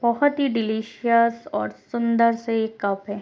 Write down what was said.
बोहोत ही डिलीशियस और सुंदर से कप है।